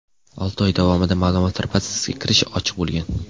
Olti oy davomida ma’lumotlar bazasiga kirish ochiq bo‘lgan.